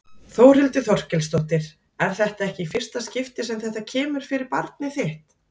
Þórhildur Þorkelsdóttir: En þetta er ekki í fyrsta skipti sem þetta kemur fyrir barnið þitt?